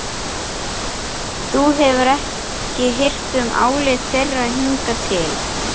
Þú hefur ekki hirt um álit þeirra hingað til.